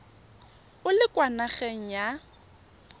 o le kwa nageng ya